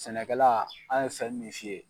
Sɛnɛkɛla an ye fɛn min f'i ye